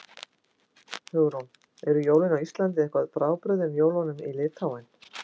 Hugrún: Eru jólin á Íslandi eitthvað frábrugðin jólunum í Litháen?